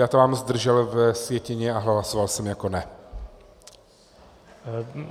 Já tam mám zdržel ve sjetině, a hlasoval jsem jako ne.